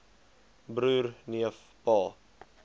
broer neef pa